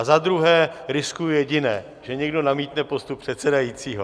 A za druhé riskuji jediné, že někdo namítne postup předsedajícího.